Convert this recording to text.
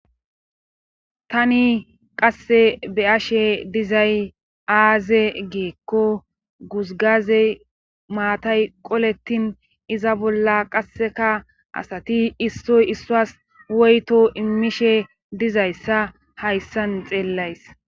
Tani qasse be ashe dizay aaze geekko guzgazey maatay qolettin iza bolla qasseka asati issoy issuas woyto immishe dizayssa hayssan xeellays.